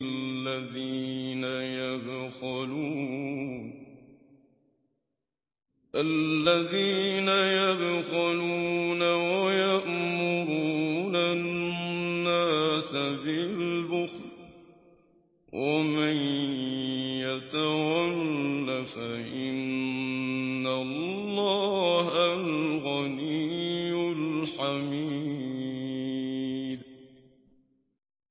الَّذِينَ يَبْخَلُونَ وَيَأْمُرُونَ النَّاسَ بِالْبُخْلِ ۗ وَمَن يَتَوَلَّ فَإِنَّ اللَّهَ هُوَ الْغَنِيُّ الْحَمِيدُ